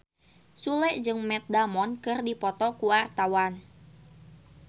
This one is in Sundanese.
Sule jeung Matt Damon keur dipoto ku wartawan